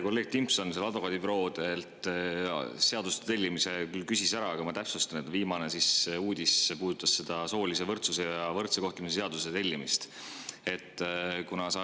Kolleeg Timpson advokaadibüroodelt seadus tellimise kohta küll küsis ära, aga ma täpsustan, et viimane uudis puudutas soolise võrdsuse ja võrdsete seaduse tellimist.